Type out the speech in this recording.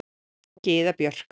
Gyða Björk.